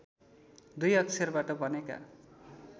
दुई अक्षरबाट बनेका